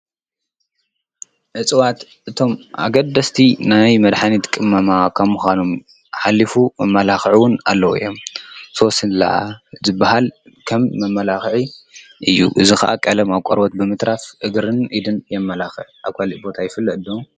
እፅዋት እቶም ኣገደስቲ ናይ መድሓኒት ቅመማ ከም ምዃኖም ሓሊፉ መመላኽዒ ውን ኣለዉ እዮም፡፡ ሶስላ ዝባሃል ከም መመላኽዒ እዩ፡፡ እዚ ኸዓ ቐለም ኣብ ቖርቦት ብምትራፍ እግርን ኢድን የመላኽዕ፡፡ ኣብ ካሊእ ቦታ ይፈለጥ ዶ?